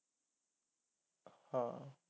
ਹਾਂ